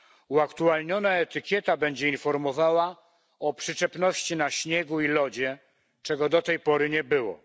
Uaktualniona etykieta będzie informowała o przyczepności na śniegu i lodzie, czego do tej pory nie było.